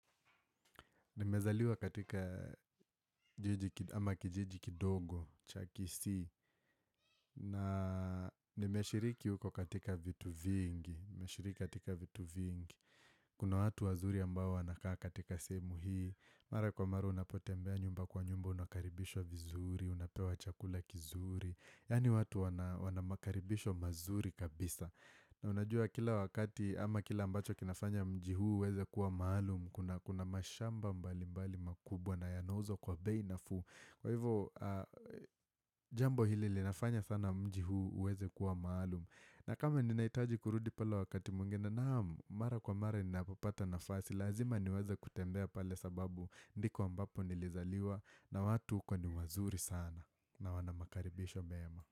Nimezaliwa katika ama kijiji kidogo, cha Kisii, na nimeashiriki huko katika vitu vingi, nimeashiriki katika vitu vingi, kuna watu wazuri ambao wanakaa katika sehemu hii, mara kwa maru unapotembea nyumba kwa nyumba unakaribishwa vizuri, unapewa chakula kizuri, yani watu wana wanamakaribisho mazuri kabisa. Na unajua kila wakati ama kila ambacho kinafanya mji huu uweze kuwa maalumu kuna kuna mashamba mbali mbali makubwa na yanauzwa kwa bei nafuu kwa hivo jambo hili linafanya sana mjii huu uweze kuwa maalumu na kama ninaitaji kurudi pala wakati mwingine naam Mara kwa mara ninavopapata nafasi Lazima niweze kutembea pale sababu ndiko ambapo nilizaliwa na watu uko ni wazuri sana na wana makaribisho meema.